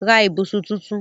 Ra ibùsùn tunrun